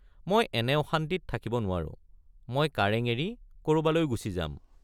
মই এনে অশান্তিত থাকিব নোৱাৰো—মই কাৰেঙ এৰি কৰবালৈ গুচি যাম।